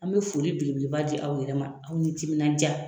An me foli belebeleba di aw yɛrɛ ma aw ni timina ja